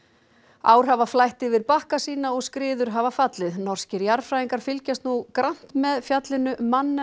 ár hafa flætt yfir bakka sína og skriður hafa fallið norskir jarðfræðingar fylgjast nú grannt með fjallinu